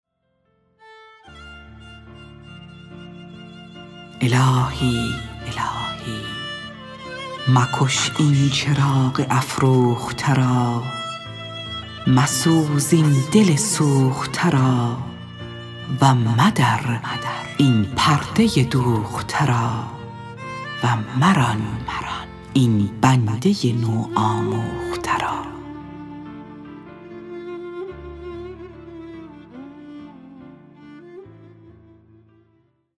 الهی مکش این چراغ افروخته را مسوز این دل سوخته را و مدر این پرده دوخته را و مران این بنده نو آموخته را